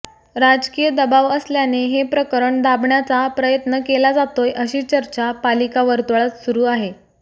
राजकीय दबाव असल्याने हे प्रकरण दाबण्याचा प्रयन्त केला जातोय अशी चर्चा पालिका वर्तुळात सुरू आहे